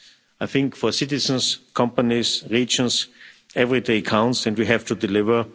I think that for citizens, companies and regions every day counts and we have to deliver.